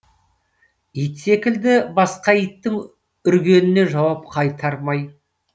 ит секілді басқа иттің үргеніне жауап қайтармай